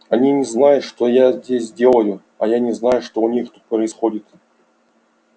они не знают что я здесь делаю а я не знаю что у них тут происходит